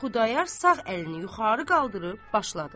Xudayar sağ əlini yuxarı qaldırıb başladı.